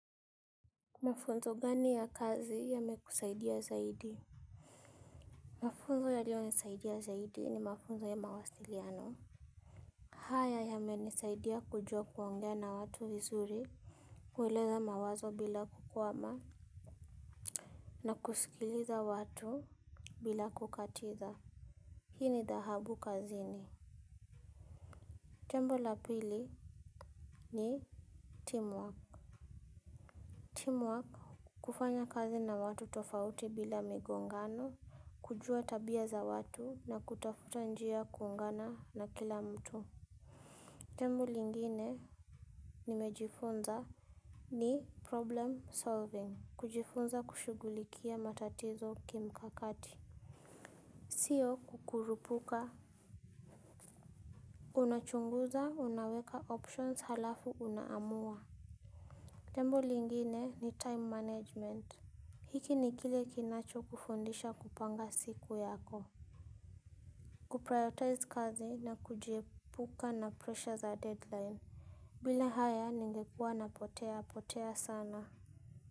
Mafunzo gani ya kazi yamekusaidia zaidi. Mafunzo yalionisaidia zaidi ni mafunzo ya mawasiliano. Haya yamenisaidia kujua kuongea na watu vizuri. Kueleza mawazo bila kukwama na kusikiliza watu bila kukatiza. Hii ni dhahabu kazini. Jambo la pili ni teamwork. Kufanya kazi na watu tofauti bila migongano. Kujua tabia za watu na kutafuta njia ya kuungana na kila mtu. Jambo lingine nimejifunza ni problem solving. Kujifunza kushughulikia matatizo kimkakati. Sio kukurupuka. Unachunguza unaweka options halafu unaamua. Jembo lingine ni time management. Hiki ni kile kinachokufundisha kupanga siku yako. Kuprioritize kazi na kujiepuka na pressure za deadline. Bila haya ningekuwa napotea potea sana.